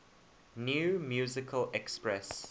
new musical express